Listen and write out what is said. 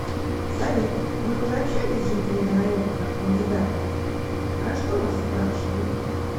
салют вы уже общались с жителями района как кандидат про что вас спрашивали